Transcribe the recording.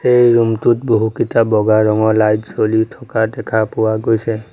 এই ৰুম টোত বহুকিটা বগা ৰঙৰ লাইট জ্বলি থকা দেখা পোৱা গৈছে।